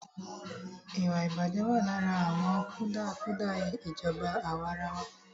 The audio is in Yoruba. Ìwàìbàjẹ́ wà lára àwọn kùdìẹ̀kùdìẹ ìjọba àwàrawa.